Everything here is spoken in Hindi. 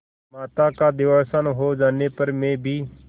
माता का देहावसान हो जाने पर मैं भी